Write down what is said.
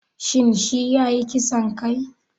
Shin shi yayi ƙisan kai?